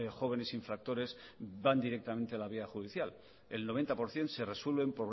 jóvenes infractores van directamente a la vía judicial el noventa por ciento se resuelven